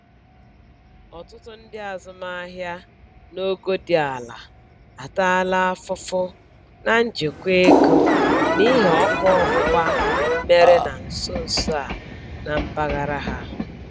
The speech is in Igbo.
Ọtụtụ ndị azụmaahịa n'ogo dị ala ataala afụfụ na njikwa ego n'ihi ọkụ ọgbụgba mere na nsonso a na mpaghara ha.